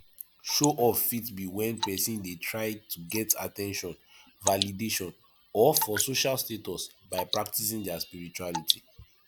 show off fit be when person dey try to get at ten tion validation or for social status by practicing their spirituality